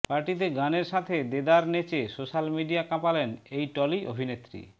পার্টিতে গানের সাথে দেদার নেচে সোশ্যাল মিডিয়া কাঁপালেন এই টলি অভিনেত্রী